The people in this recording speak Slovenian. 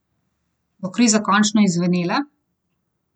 Bo kriza končno izzvenela?